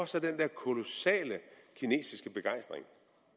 så den der kolossale kinesiske begejstring